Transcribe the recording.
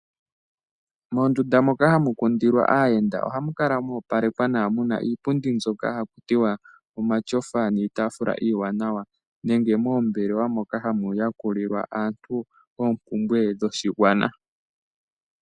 Moondunda moka hamu kundilwa aayenda ohamu kala mwoopalekwa nawa muna iipundi mbyoka haku tiwa omatyofa niitaafula iiwanawa nenge moombelewa moka hamu yakulilwa aantu oompumbwe dhoshigwana.